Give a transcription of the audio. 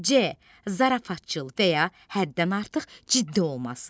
C. zarafatcıl və ya həddən artıq ciddi olması.